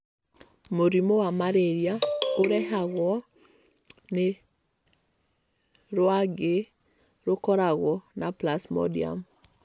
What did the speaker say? Mũrimũ wa malaria ũrehagwo nĩ rwagĩ rũkoragwo na plasmodium.